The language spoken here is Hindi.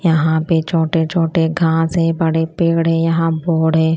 यहां पे छोटे छोटे घास हैं बड़े पेड़ हैं यहां बोर्ड है।